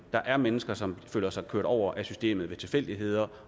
der er mennesker som føler sig kørt over af systemet ved tilfældigheder